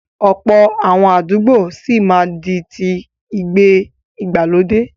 Ọ̀pọ̀ àwọn àdúgbò sì máa di ti ìgbé ìgbàlódé.